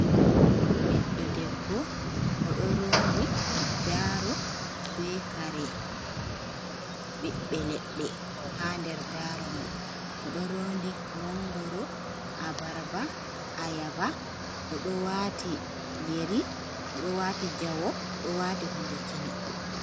Ɓiɗɗo debbo, oɗo rondi daaro be kare ɓiɓɓe ledde ha nder daro mai, oɗo rondi mangoro, abaraba, ayaba, odo watiyeri, oɗo wati jawo, oɗo wati hunde kine.